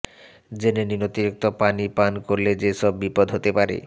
জেনে নিন অতিরিক্ত পানি পান করলে যেসব বিপদ হতে পারে